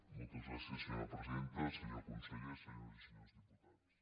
moltes gràcies senyora presidenta senyor conseller senyores i senyors diputats